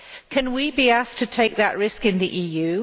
Can we be asked to take that risk in the EU?